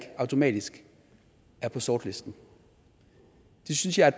automatisk er på sortlisten det synes jeg er